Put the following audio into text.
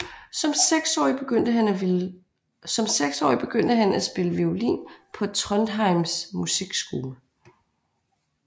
Som seksårig begyndte han at spille violin på Trondheims musikskole